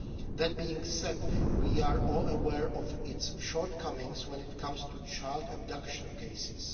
That being said, we are all aware of its shortcomings when it comes to child abduction cases.